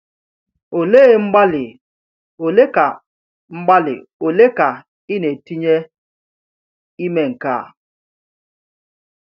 Olee mgbalị ole ka mgbalị ole ka ị na-etinye ime nke a?